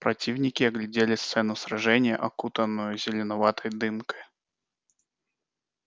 противники оглядели сцену сражения окутанную зеленоватой дымкой